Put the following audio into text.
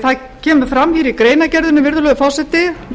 það kemur fram hér í greinargerðinni virðulegur forseti